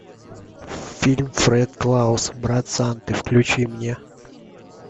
фильм фред клаус брат санты включи мне